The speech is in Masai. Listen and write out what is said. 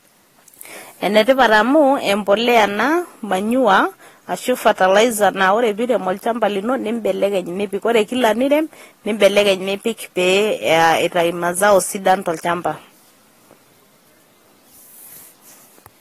enetipat amu embolea ena manyua ashu fertilizer na ore peirem olchamba lino nibelekeny nipik ore kila nirem nibelekeny nipik peyie ityu mazao sidan tolchamba.